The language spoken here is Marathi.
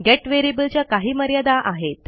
गेट variableच्या काही मर्यादा आहेत